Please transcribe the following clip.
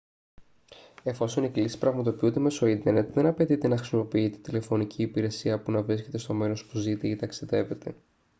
εφόσον οι κλήσεις πραγματοποιούνται μέσω ίντερνετ δεν απαιτείται να χρησιμοποιείτε τηλεφωνική υπηρεσία που να βρίσκετε στο μέρος που ζείτε ή ταξιδεύετε